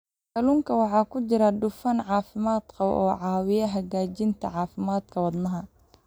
Kalluunka waxaa ku jira dufan caafimaad qaba oo caawiya hagaajinta caafimaadka wadnaha.